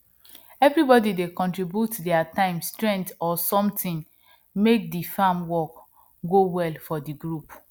everybody dey contribute their time strength or something make the farm work go well for the group